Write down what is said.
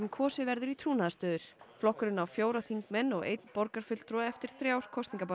kosið verður í trúnaðarstöður flokkurinn á fjóra þingmenn og einn borgarfulltrúa eftir þrjár